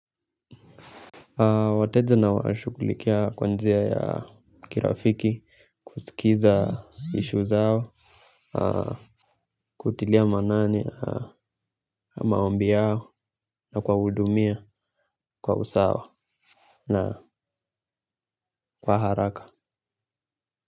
Wateja nawashughulikia kwa njia ya kirafiki, kusikiza issue zao, kutilia manani, maombi yao na kuwahudumia, kwa usawa na kwa haraka.